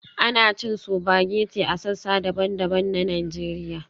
Ana cin spaghetti a sassa daban-daban na Najeriya